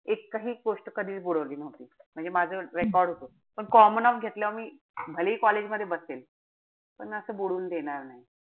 एकही गोष्ट कधीच बुडवली नव्हती. म्हणजे माझं record होत. पण common-off घेतल्यावर मी भलेही college मध्ये बसेल. पण असं बुडवून देणार नाई.